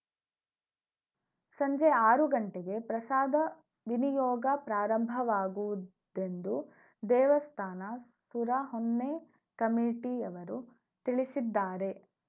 ಸಂಜೆ ಆರು ಗಂಟೆಗೆ ಪ್ರಸಾದ ವಿನಿಯೋಗ ಪ್ರಾರಂಭವಾಗುವುದೆಂದು ದೇವಸ್ಥಾನ ಸುರಹೊನ್ನೆ ಕಮಿಟಿಯವರು ತಿಳಿಸಿದ್ದಾರೆ